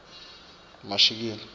mashikila